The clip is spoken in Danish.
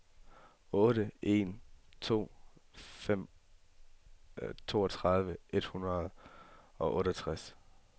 otte en to fem toogtredive et hundrede og otteogtres